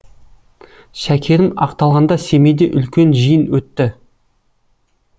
шәкерім ақталғанда семейде үлкен жиын өтті